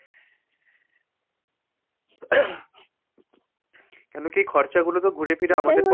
কেন কি খরচা গুলো ঘুরে ফিরে আমাদের